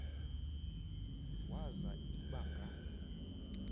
waza iba nga